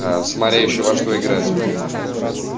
а смотря ещё во что играть